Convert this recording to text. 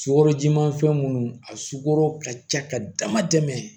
Sukaro jiman fɛn minnu a sukoro ka ca ka dama tɛmɛ